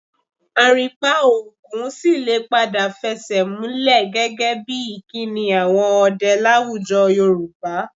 Àrìnpa ogún sì lè padà fẹsẹ̀múlẹ̀ gẹ́gẹ́ bí ìkíni àwọn ọdẹ láwùjọ Yorùbá